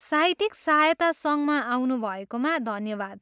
साहित्यिक सहायता सङ्घमा आउनुभएकोमा धन्यवाद।